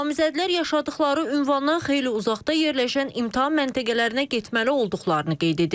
Namizədlər yaşadıqları ünvandan xeyli uzaqda yerləşən imtahan məntəqələrinə getməli olduqlarını qeyd edirlər.